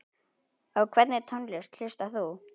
Á hvernig tónlist hlustar þú?